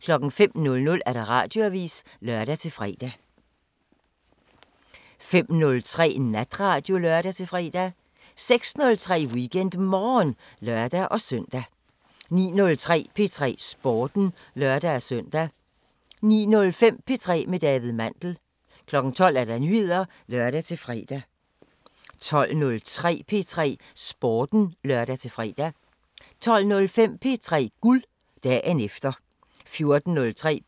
05:00: Radioavisen (lør-fre) 05:03: Natradio (lør-fre) 06:03: WeekendMorgen (lør-søn) 09:03: P3 Sporten (lør-søn) 09:05: P3 med David Mandel 12:00: Nyheder (lør-fre) 12:03: P3 Sporten (lør-fre) 12:05: P3 Guld – dagen efter 14:03: